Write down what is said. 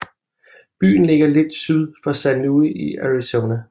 Byen ligger lige syd for San Luis i Arizona